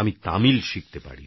আমি তামিল শিখতে পারিনি